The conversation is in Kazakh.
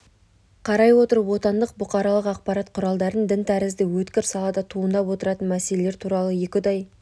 қарай отырып отандық бұқаралық ақпарат құралдарын дін тәрізді өткір салада туындап отыратын мәселелер туралы екіұдай